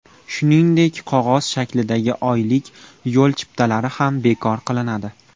Shuningdek, qog‘oz shaklidagi oylik yo‘l chiptalari ham bekor qilinadi.